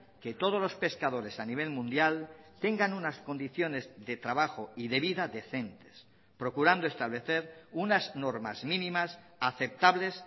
que todos los pescadores a nivel mundial tengan unas condiciones de trabajo y de vida decentes procurando establecer unas normas mínimas aceptables